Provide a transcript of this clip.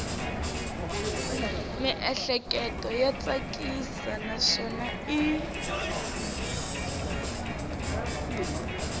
miehleketo ya tsakisa naswona i